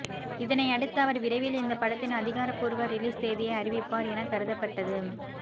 இதனையடுத்து அவர் விரைவில் இந்த படத்தின் அதிகாரபூர்வ ரிலீஸ் தேதியை அறிவிப்பார் என கருதப்பட்டது